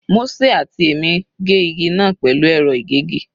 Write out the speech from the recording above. Mósè àti èmi gé igi náà pẹ̀lú ẹ̀rọ ìgégi.